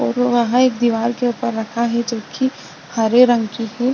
और वहां एक दीवाल के ऊपर रखा हैजो की हरे रंग की है |